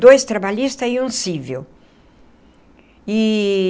Dois trabalhistas e um cível eee.